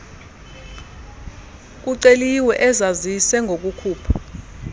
kuceliwe azazise ngokukhupha